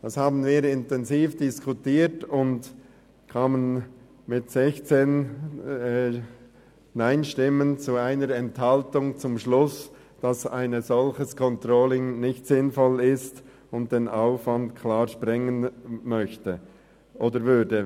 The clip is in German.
Dies haben wir intensiv diskutiert und sind mit 16 NeinStimmen bei 1 Enthaltung zum Schluss gekommen, dass ein solches Controlling nicht sinnvoll ist und den Rahmen klar sprengen würde.